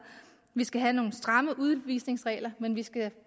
vi skal have nogle stramme udvisningsregler men vi skal